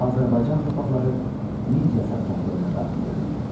Azərbaycan torpaqları Midiya satraplığına daxil edildi.